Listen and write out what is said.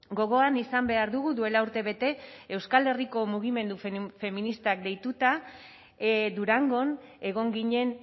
gogoan izan behar dugu duela urtebete euskal herriko mugimendu feministak deituta durangon egon ginen